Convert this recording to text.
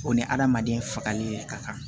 O ni hadamaden fagali yɛrɛ ka kan